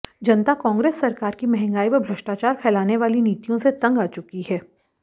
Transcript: जनता कांग्रेस सरकार की महंगाई व भ्रष्टाचार फैलाने वाली नीतियों से तंग आ चुकी है